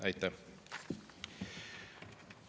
Aitäh!